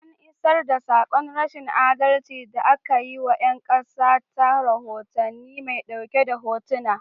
An iisar da saƙon rashin adalci da aka yi wa 'yan ƙasa ta rohotannin mai ɗauke da hotuna.